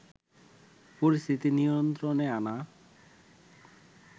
পরিস্থিতি নিয়ন্ত্রণে আনা